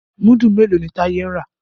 Mudu mèló ní Taye ń rà?